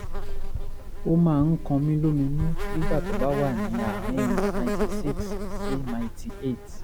ó máań kan mí lóminú nígbà tó bá wà ní àárín 96 sí 98